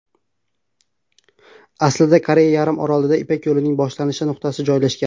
Aslida Koreya yarim orolida Ipak yo‘lining boshlanish nuqtasi joylashgan.